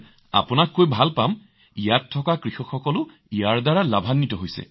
আনকি মহোদয় ইয়াৰ কৃষকসকল ইয়াৰ পৰা যথেষ্ট লাভান্বিত হৈছে